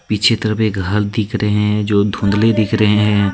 पीछे तरफ एक घल दिख रहे है जो धुंधले दिख रहे हैं।